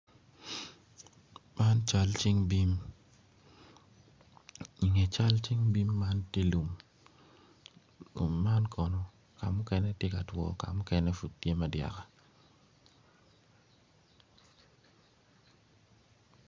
Man cal cing bim i nge cal cing bim man tye lum man kono kamukene tye ka two kamukene pud tye ma dyaka.